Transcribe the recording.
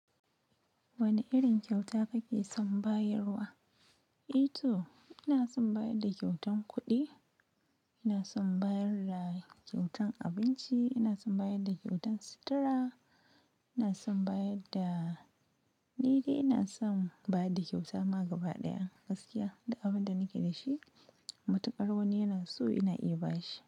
Wane irin kyauta kake son bayarwa? Eto ina son bayar da kyautan kuɗi, ina son bayar da kyautan abinci, ina son bayar da kyautan sutura, ina son bayar da ni dai ina son bayar da kyauta ma gaba ɗaya gaskiya duk abin da nake da shi. Matuƙar wani yana so ina iya ba shi.